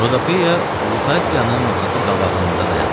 Rodopeya Lutasiyanın masası qabağında dayandı.